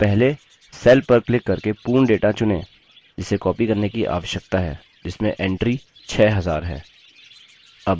तो पहले cell पर क्लिक करके पूर्ण data चुनें जिसे copied करने की आवश्यकता है जिसमें entry 6000 है